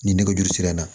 Ni nɛgɛjuru sira na